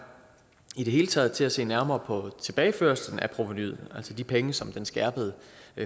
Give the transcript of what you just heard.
i det hele taget til at se nærmere på tilbageførslen af provenuet altså de penge som den skærpede